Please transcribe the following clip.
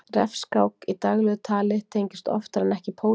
refskák í daglegu tali tengist oftar en ekki pólitík